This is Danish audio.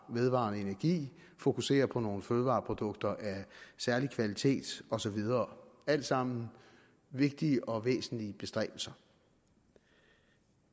vedvarende energi at fokusere på nogle fødevareprodukter af særlig kvalitet og så videre alt sammen vigtige og væsentlige bestræbelser